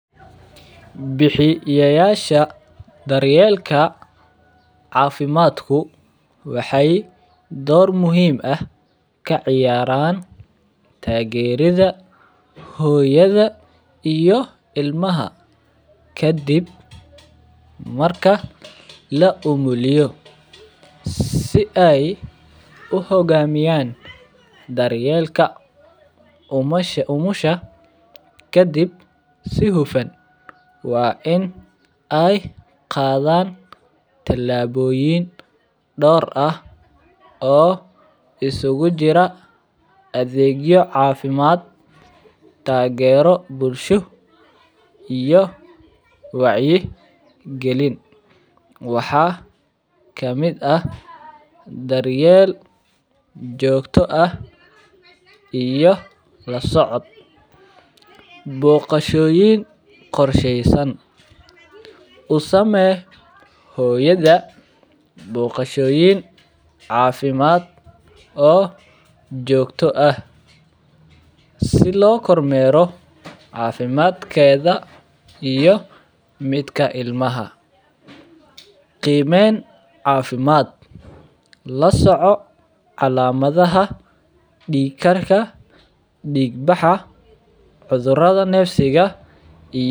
Buxiyayasha daryelka cafimadku waxee dor muhiim ah ka ciyaran tagerida hoyada iyo ilmaha kadiib marka laumuliyo si ee u hogamiyan daryelka umusha kadiib si hufan waa in ee qadhan talaboyin dor ah oo isugu jira adhegyo cafimaad tagero bulsho iyo waxaa kamiid ah daryeel jogto ah iyo lasocod boqashoyin qorsheysan usame hoyada boqashoyin cafimaad oo jogto ah si lo kor mero cafimaadkedha iyo midka ilmaha qimen cafimaad lasoco calamadhaha dikarka dig baxa cudhuradha nefsiga ah iyo.